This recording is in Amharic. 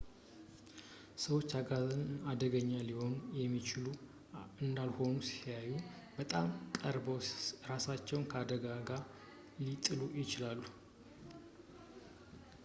ሰዎች አጋዘንን አደገኛ ሊሆኑ የሚችሉ እንዳልሆኑ ሲያዩ በጣም ቀርበው እራሳቸውን አደጋ ላይ ሊጥሉ ይችላሉ